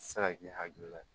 Se ka k'i hakilila ye